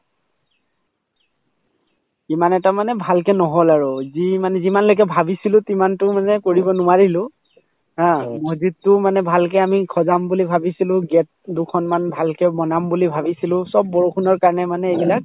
ইমান এটা মানে ভালকে নহল আৰু যি মানে যিমানলৈকে ভাবিছিলো তিমানতো মানে কৰিব নোৱাৰিলো ha মছজিদতো মানে ভালকে আমি সজাম বুলি ভাবিছিলো gate দুখনমান ভালকে বনাম বুলি ভাবিছিলো চব বৰষুণৰ কাৰণে মানে এইবিলাক